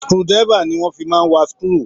Screw driver ni wọ́n fi máa ń wà screw.